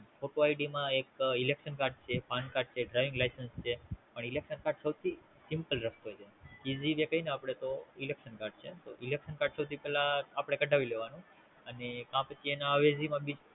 photo ID માં એક Elexon card છે પણ કાર્ડ છે Driving license છે પણ Elexon card સૌ થી Simple રસ્તો છે Easy જે કી ને આપડે તો Elexon card છે તો Elexon card સૌ થી પેલા અપડે કઢાવી લેવાનું અને કે પછી એના અવેજી માં બીજું